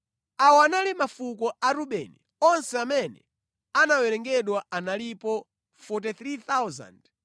Awa anali mafuko a Rubeni: onse amene anawerengedwa analipo 43,730.